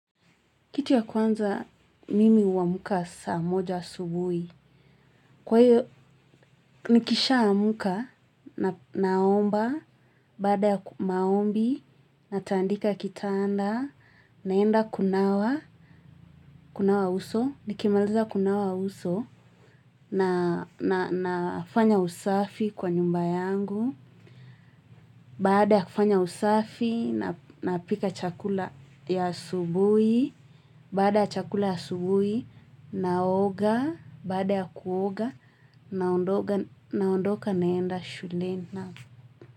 Kitu ya kwanza mimi uamka saa moja asubuhi. Kwa hiyo, nikishaamuka na naomba, baada ya maombi, natandika kitanda, naenda kunawa, kunawa uso, nikimaliza kunawa uso, na na na nafanya usafi kwa nyumba yangu. Baada ya kufanya usafi, napika chakula ya asubuhi, baada ya chakula ya asubuhi, naoga, baada ya kuoga, naondoka naenda shuleni.